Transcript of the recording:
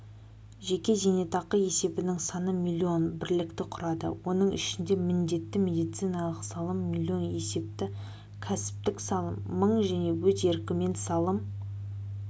жеке зейнетақы есебінің саны млн бірлікті құрады оның ішінде міндетті медициналық салым млн есепті кәсіптік салым мың және өз еркімен салым